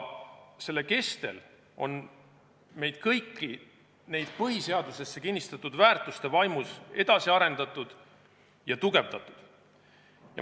Selle kestel on meid kõiki nende põhiseadusesse kinnistatud väärtuste vaimus edasi arendatud ja tugevdatud.